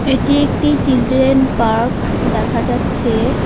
এটি একটি children park দেখা যাচ্ছে।